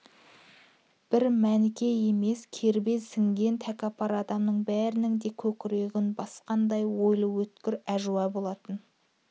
бір мәніке емес кербез сінген тәкаппар адамның бәрінің де көкірегін басқандай ойлы өткір әжуа болатын